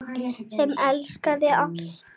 Sem elskaði allt.